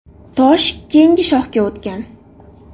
Tosh keyingi shohga o‘tgan.